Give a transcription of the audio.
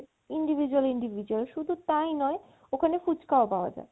individual individual শুধু তাই নয় ওখানে ফুচকাও পাওয়া যায়